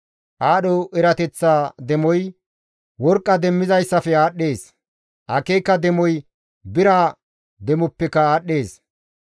Aadho erateththa demoy worqqa demmizayssafe aadhdhees; akeeka demoy bira demoppeka aadhdhees.